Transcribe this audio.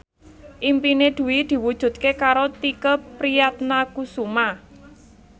impine Dwi diwujudke karo Tike Priatnakusuma